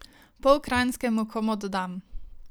Pol kranjske mu komot dam.